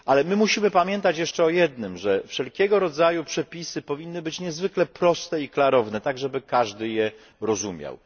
Ale my musimy pamiętać jeszcze o jednym że wszelkiego rodzaju przepisy powinny być niezwykle proste i klarowne tak, żeby każdy je rozumiał.